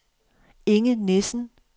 Inge Nissen